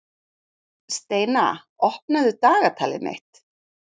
Steina, opnaðu dagatalið mitt.